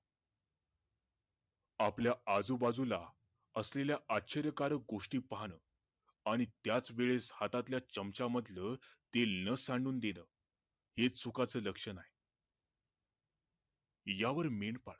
आपल्या आजू बाजू असलेल्या आश्चर्यकारक गोष्टी पाहणं आणि त्याच वेळेस हाता मधल्या चमच्यामधलं तेल न सांडून देण, हेच सुखाच लक्षण आहे या वर मेंढपाळ